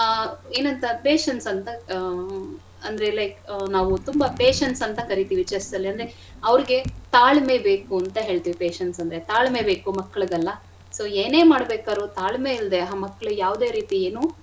ಆಮೇಲೆ ಆ ಏನಂತಂದ್ರೆ patience ಅಂತ ಆ ಅಂದ್ರೆ like ತುಂಬಾ patience ಅಂತ ಕರಿತಿವಿ chess ಅಲ್ಲಿ ಅಂದ್ರೆ ಅವ್ರಿಗೆ ತಾಳ್ಮೆ ಬೇಕು ಅಂತ ಹೇಳ್ತಿವಿ patience ಅಂದ್ರೆ ತಾಳ್ಮೆ ಬೇಕು ಮಕ್ಳಿಗೆಲ್ಲ so ಏನೆ ಮಾಡ್ಬೇಕಾದ್ರು ತಾಳ್ಮೆ ಇಲ್ದೆ ಆ ಮಕ್ಳು ಯಾವ್ದೆ.